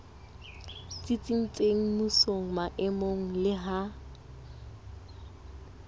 tsitsitseng mmusong maemong le ha